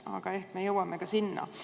Aga ehk me jõuame ka sinna.